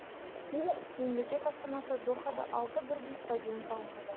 мемлекет астанасы дохада алты бірдей стадион салынуда